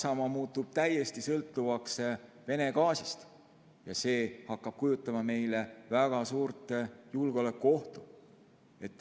Saksamaa muutub täiesti sõltuvaks Vene gaasist ja see hakkab kujutama meile väga suurt julgeolekuohtu.